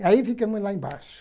E aí ficamos lá embaixo.